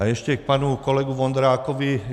A ještě k panu kolegu Vondrákovi.